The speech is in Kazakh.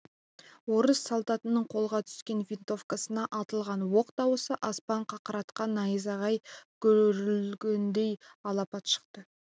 орыс солдатының қолға түскен винтовкасынан атылған оқ дауысы аспан қақыратқан найзағай гүріліндей алапат шықты